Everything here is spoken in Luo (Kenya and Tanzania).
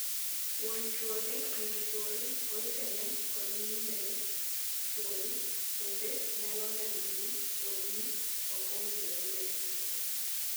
Wuon chuori, min chuori, owetene, kod nyimine chuori bende nyalo neno ni wuodni ok owinjore obed chuori.